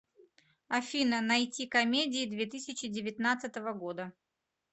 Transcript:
афина найти комедии две тысячи девятнадцатого года